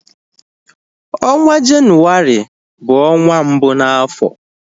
Ọnwa jenuwari bu onwa mbụ na afọ